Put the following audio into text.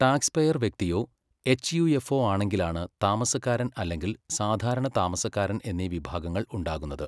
Taxpayer വ്യക്തിയോ എച്ച്.യു.എഫോ ആണെങ്കിലാണ് താമസക്കാരൻ അല്ലെങ്കിൽ സാധാരണ താമസക്കാരൻ എന്നീ വിഭാഗങ്ങൾ ഉണ്ടാകുന്നത്.